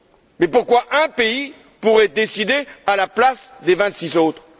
Mais pourquoi un pays pourrait il décider à la place des vingt six autres?